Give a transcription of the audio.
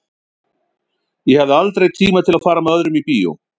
Ég hafði aldrei tíma til að fara með öðrum í bíó.